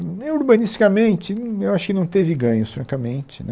Urbanisticamente, eu acho que não teve ganho, francamente né.